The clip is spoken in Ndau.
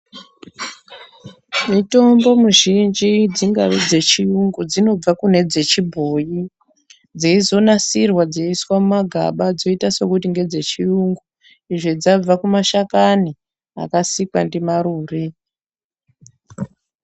Mitombo mizhinji dzingave dzechiungu dzinobva kune dzechibhoi dzeizonasirwa dzeiiswa mumagaba dzoita sekuti ngedze chiungu izvo dzabva kumashakani akasikwa ndimarumbe.